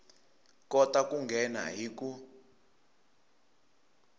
kota ku nghena hi ku